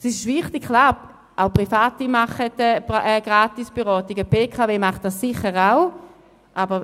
Es ist richtig, auch Private leisten Gratisberatungen, sicher auch die BKW.